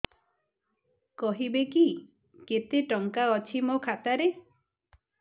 କହିବେକି କେତେ ଟଙ୍କା ଅଛି ମୋ ଖାତା ରେ